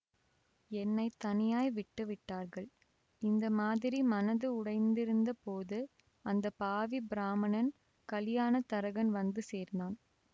என்னை தனியாய் விட்டு விட்டார்கள் இந்த மாதிரி மனது உடைந்திருந்த போது அந்த பாவி பிராமணன் கலியாணத் தரகன் வந்து சேர்ந்தான்